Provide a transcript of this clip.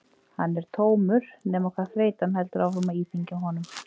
Hann er tómur nema hvað þreytan heldur áfram að íþyngja honum.